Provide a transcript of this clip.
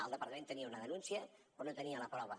el departament tenia una denúncia però no tenia la prova